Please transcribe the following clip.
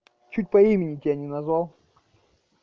чуть по имени тебя не называл